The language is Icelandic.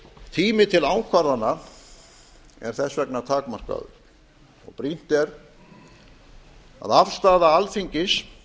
tími til ákvarðana er þess vegna takmarkaður og brýnt er að afstaða alþingis